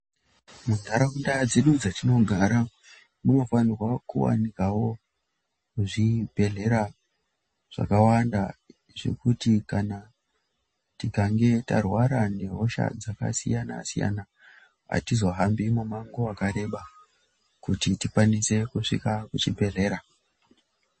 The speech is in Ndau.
Munharaunda dzedu dzatinogara, munofanirwa kuwanikwawo zvibhehlera zvakawanda zvekuti kana tikange tarwara nehosha dzakasiyana-siyana, hatizohambi mumango wakareba kuti tikwanise kusvika kuchibhehlera.